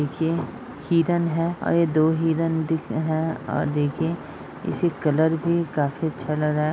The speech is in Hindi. इखीए हिरन है औ ये दो हिरन दि हैं अ देखिये। इसी कलर भी काफी अच्छा लगा।